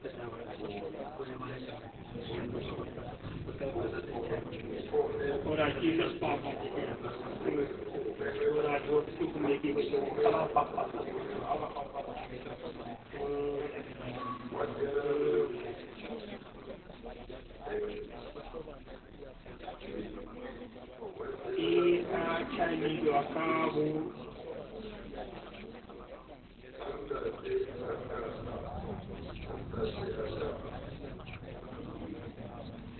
e a thibelwa ka ho